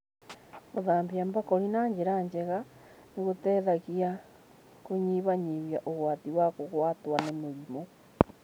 Gũthambia mbakũri na njĩra njega nĩ gũteithagia kũnyihanyihia ũgwati wa kũgwatwo nĩ mĩrimũ.